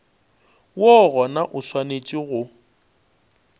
woo gona o swanetše go